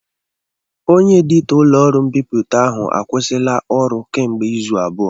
Onye editọ ụlọọrụ mbipụta ahụ akwụsịla ọrụ kemgbe izu abụọ